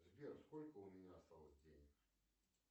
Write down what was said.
сбер сколько у меня осталось денег